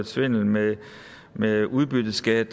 svindel med med udbytteskat